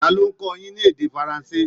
Ta ló ń kọ́ ọ yín ní èdè Faransé?